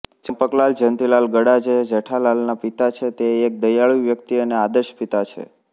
ચંપકલાલ જયંતીલાલ ગડા જે જેઠાલાલના પિતા છે તે એક દયાળુ વ્યક્તિ અને આદર્શ પિતા છે